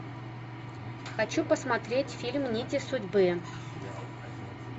хочу посмотреть фильм нити судьбы